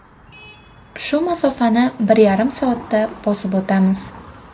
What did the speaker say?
Shu masofani bir yarim soatda bosib o‘tamiz.